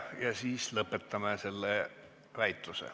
Ja siis lõpetame selle väitluse.